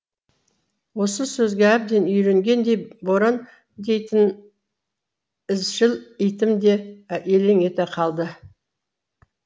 осы сөзге әбден үйренгендей боран дейтін ізшіл итім де елең ете калды